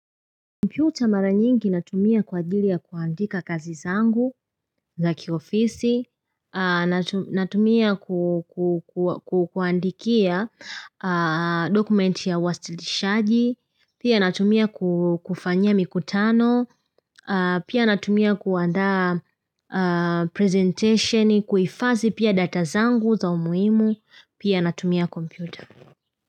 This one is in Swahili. Computer mara nyingi natumia kwa ajili ya kuandika kazi zangu za kiofisi, natumia kuandikia dokumenti ya uwasilishaji, pia natumia kufanyia mikutano, pia natumia kuandaa presentation, kuifazi pia data zangu za umuhimu, pia natumia computer.